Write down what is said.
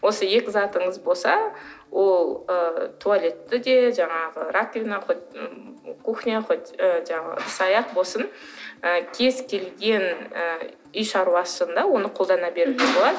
осы екі затыңыз болса ол ы туалетті де жаңағы раковина хоть кухня хоть ы жаңағы ыдыс аяқ болсын ы кез келген ы үй шаруасында оны қолдана беруге болады